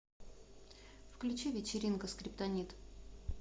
включи вечеринка скриптонит